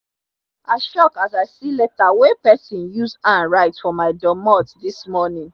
i shock as i see leta wen person use hand write for my doormot dis morning